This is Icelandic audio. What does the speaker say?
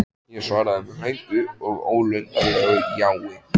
Ég svaraði með löngu og ólundarlegu jái.